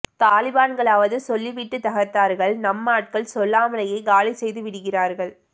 தாலிபான்களாவது சொல்லி விட்டு தகர்த்தார்கள் நம்மாட்கள் சொல்லாமலேயே காலி செய்து விடுகிறார்கள்